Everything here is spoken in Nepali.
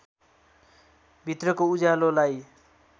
भित्रको उज्यालोलाई